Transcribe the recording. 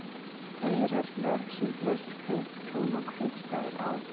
Eyrarnar, sem flest kauptún og kaupstaðir á